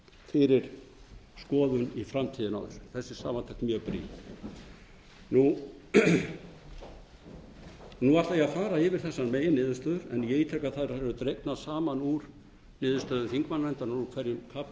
fyrir skoðun í framtíðinni er þessi samantekt mjög brýn nú ætla ég að fara yfir þessar meginniðurstöður en ítreka að þær eru dregnar saman úr niðurstöðum þingmannanfendrinnar úr hverjum kafla og